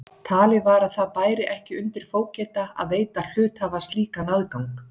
Talið var að það bæri ekki undir fógeta að veita hluthafa slíkan aðgang.